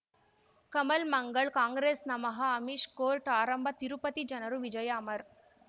ಕಮಲ್ ಮಂಗಳ್ ಕಾಂಗ್ರೆಸ್ ನಮಃ ಅಮಿಷ್ ಕೋರ್ಟ್ ಆರಂಭ ತಿರುಪತಿ ಜನರ ವಿಜಯ ಅಮರ್